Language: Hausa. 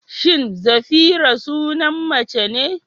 Shin Zafira sunan mace ne?